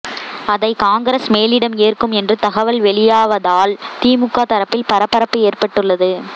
அதை காங்கிரஸ் மேலிடம் ஏற்கும் என்று தகவல்கள் வெளியாவதால் திமுக தரப்பில் பரபரப்பு ஏற்பட்டுள்ளது